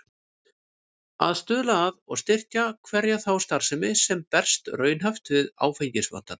Að stuðla að og styrkja hverja þá starfsemi, sem berst raunhæft við áfengisvandann.